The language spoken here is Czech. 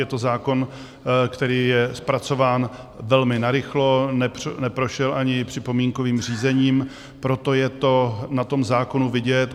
Je to zákon, který je zpracován velmi narychlo, neprošel ani připomínkovým řízením, proto je to na tom zákonu vidět.